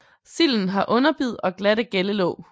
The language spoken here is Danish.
Silden har underbid og glatte gællelåg